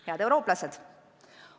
Head eurooplased!